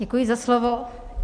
Děkuji za slovo.